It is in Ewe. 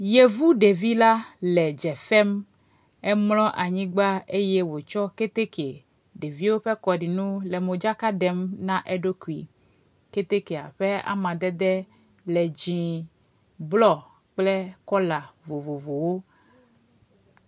Yevu ɖevila le dzefem emlɔ anyigba eye wotsɔ kɛtɛkɛ ɖeviwo ƒe kɔɖinu le modzaka ɖem na eɖokui kɛtɛkɛa ƒe amadede le dzĩe blɔ kple kɔla vovovowo